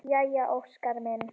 Jæja Óskar minn!